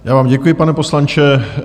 Já vám děkuji, pane poslanče.